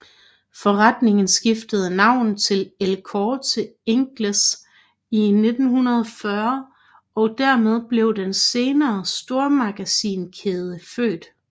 Forretningen skiftede navn til El Corte Inglés i 1940 og dermed blev den senere stormagasinkæde født